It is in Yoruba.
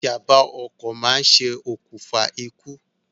Ìjàmbá ọkọ̀ máa ṣe òkùnfà ikú